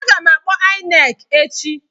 Aga m akpọ INEC echi.